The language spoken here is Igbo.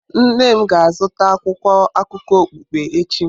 Nne m ga-azụta akwụkwọ akụkọ okpukpe echi.